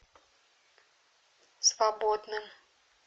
свободным